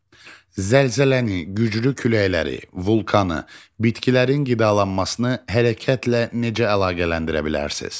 Zəlzələni, güclü küləkləri, vulkanı, bitkilərin qidalanmasını hərəkətlə necə əlaqələndirə bilərsiniz?